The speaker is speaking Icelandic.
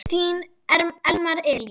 Þinn Elmar Elí.